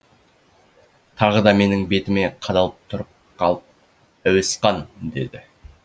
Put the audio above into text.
тағы да менің бетіме қадалып тұрып қалып әуесқан деді